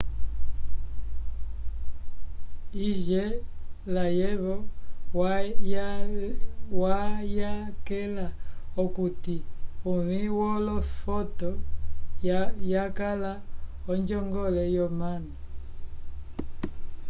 hsieh layevo wayakela okuti uvĩ wolofoto yakala onjongole yomanu